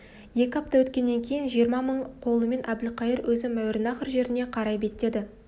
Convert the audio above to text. екі апта өткеннен кейін жиырма мың қолымен әбілқайыр өзі мауреннахр жеріне қарай беттеді